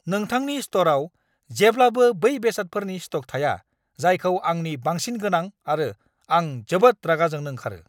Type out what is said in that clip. नोंथांनि स्ट'रआव जेब्लाबो बै बेसादफोरनि स्ट'क थाया, जायखौ आंनो बांसिन गोनां आरो आं जोबोद रागा जोंनो ओंखारो!